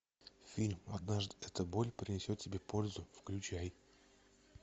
фильм однажды эта боль принесет тебе пользу включай